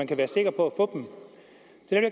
kan være sikker på